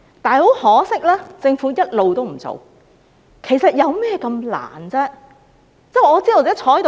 然而，很可惜，政府一直也不做，其實有何困難呢？